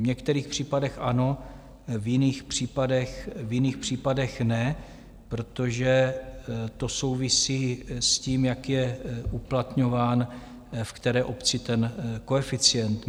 V některých případech ano, v jiných případech ne, protože to souvisí s tím, jak je uplatňován v které obci ten koeficient.